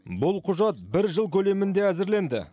бұл құжат бір жыл көлемінде әзірленді